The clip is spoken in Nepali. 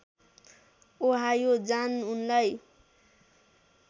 ओहायो जान उनलाई